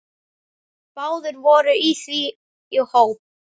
Báðir voru því í hópi